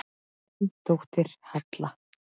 Þín dóttir, Halla.